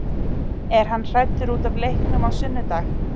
Er hann hræddur útaf leiknum á sunnudag?